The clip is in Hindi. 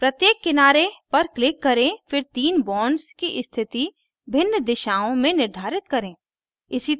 प्रत्येक किनारे पर click करें फिर then bonds की स्थिति भिन्न दिशाओं में निर्धारित करें